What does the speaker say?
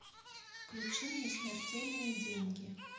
включи мне смертельные деньги